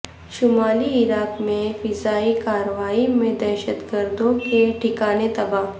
شمالی عراق میں فضائی کاروائی میں دہشت گردوں کے ٹھکانے تباہ